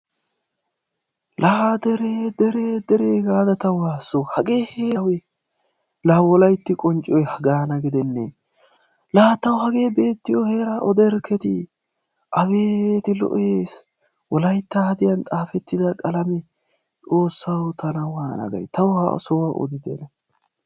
La dere dere dere gaada ta waasso hage awe Wolaytti qoncciyoy haga gidenne! la tawu hage beetiyo heera odaerkketi Wolaytta hadiyaan xaafetida qalamee XOOSSAW tana waana gay taw ha sohuwaa odite.